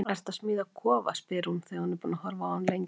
Ertu að smíða kofa? spyr hún þegar hún er búin að horfa á hann lengi.